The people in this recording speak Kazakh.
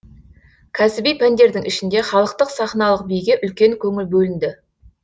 кәсіби пәндердің ішінде халықтық сахналық биге үлкен көңіл бөлінді